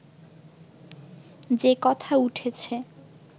যে কথা উঠেছে